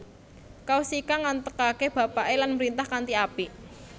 Kaushika nggantekake bapake lan mrintah kanthi apik